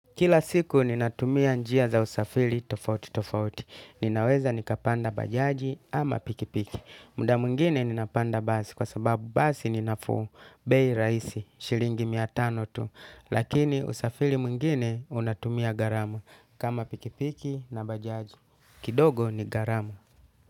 Kila siku ninatumia njia za usafili tofauti tofauti, ninaweza nikapanda bajaji ama pikipiki. Muda mwingine ninapanda basi kwa sababu basi ni nafuu, bei rahisi, shilingi mia tano tu. Lakini usafili mungine unatumia garamu, kama pikipiki na bajaji. Kidogo ni garamu.